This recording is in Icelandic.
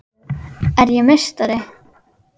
Er ég meistari?